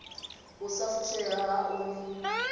u sa fushea haṋu ni